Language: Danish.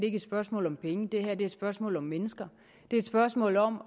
er et spørgsmål om penge det her er et spørgsmål om mennesker det er et spørgsmål om